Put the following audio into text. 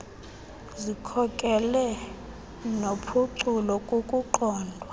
zikhokelo nophuculo kukuqondwa